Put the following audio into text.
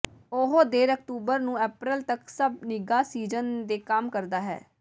ਉਹ ਦੇਰ ਅਕਤੂਬਰ ਨੂੰ ਅਪ੍ਰੈਲ ਤੱਕ ਸਭ ਨਿੱਘਾ ਸੀਜ਼ਨ ਦੇ ਕੰਮ ਕਰਦਾ ਹੈ